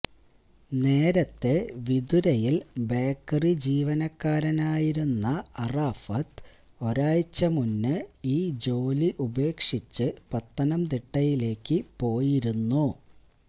നേരത്തെ വിതുരയിൽ ബേക്കറി ജീവനക്കാരനായിരുന്ന അറാഫത്ത് ഒരാഴ്ച മുമ്പ് ഈ ജോലി ഉപേക്ഷിച്ച് പത്തനംതിട്ടയിലേക്കു പോയിരുന്നു